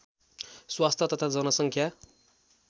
स्वास्थ्य तथा जनसङ्ख्या